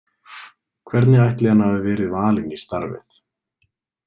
Hvernig ætli hann hafi verið valinn í starfið?